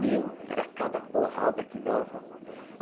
Meu, era cada porrada que dava.